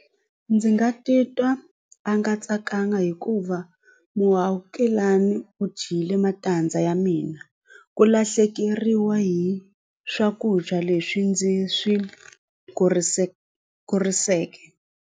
Ndzi nga titwa a nga tsakanga hikuva muakelani u dyile matandza ya mina ku lahlekeriwa hi swakudya leswi ndzi swi kuriseleke.